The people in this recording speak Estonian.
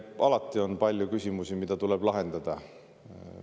Alati on palju küsimusi, mida tuleb lahendada.